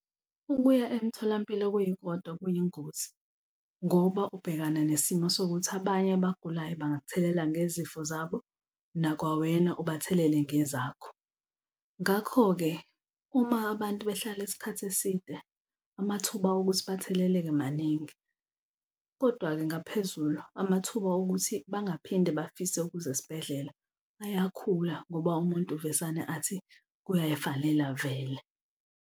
Ukuya emtholampilo kuyikodwa kuyingozi ngoba ubhekana nesimo sokuthi abanye abagulayo bangak'thelela ngezifo zabo, nakwawena ubathelele ngezakho. Ngakho-ke uma abantu behlala isikhathi eside amathuba okuthi batheleleke maningi, kodwa-ke ngaphezulu amathuba okuthi bangaphinde bafise ukuza esibhedlela ayakhula ngoba umuntu uvesane athi kuyayifanela vele.